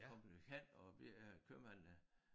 Kom jo hen og vi øh købmanden